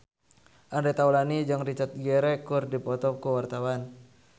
Andre Taulany jeung Richard Gere keur dipoto ku wartawan